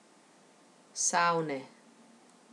Savne.